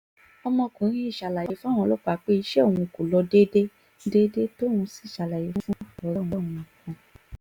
ọmọkùnrin yìí ṣàlàyé fáwọn ọlọ́pàá pé iṣẹ́ òun